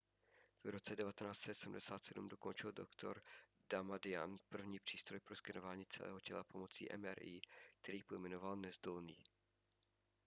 v roce 1977 dokončil dr damadian první přístroj pro skenování celého těla pomocí mri který pojmenoval nezdolný